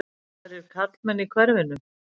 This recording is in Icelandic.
Aðrir karlmenn í hverfinu?